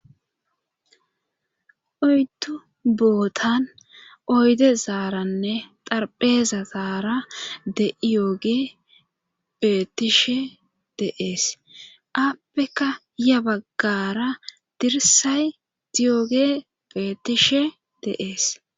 oyddu bootan oyde zaaranne xarpheeza zaara de'iyooge bettishe deees aappeka ya baggara dirsay diyooge bettishe dees.